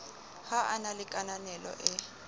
ho na le kananelo e